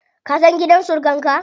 Ka san gidan surukan ka?